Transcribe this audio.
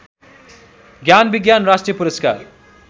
ज्ञानविज्ञान राष्ट्रिय पुरस्कार